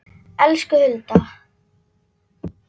Elsku Hulda.